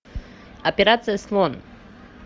операция слон